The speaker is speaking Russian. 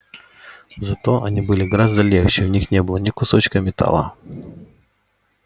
зато они были гораздо легче в них не было ни кусочка металла